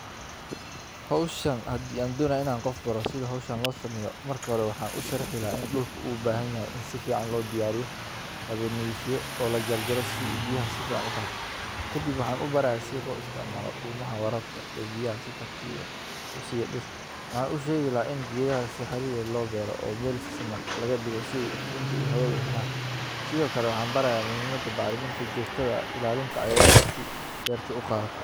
Hawshan hadii aan dhan inaan qof baro sida hawshan loo sameyo marka hore waxaan u sharaxeynaa in dhulku uu baahan yahay, in si fiican loo diyaariyo, la nidiifiyo oo la jajaro si uu biyaha si fiican u qaato. Kadib waxaan u baraa si loo isticmaalo dhulmaha wararka ee biyaha si tartiiba u sii yeedhirto. Waxaan u sheegay la in giidhaha si xirirda loo beero oo bil seman laga dhigo sii iftiinka iyo hawadu aheyn sidoo kale waxaan barayaa muhiimada baaritaan joogtada ilaalinta aayaanka si beerta u qaata.